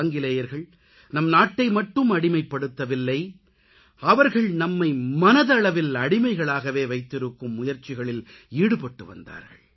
ஆங்கிலேயர்கள் நம் நாட்டை மட்டும் அடிமைப்படுத்தவில்லை அவர்கள் நம்மை மனதளவில் அடிமைகளாகவே வைத்திருக்கும் முயற்சிகளில் ஈடுபட்டுவந்தார்கள்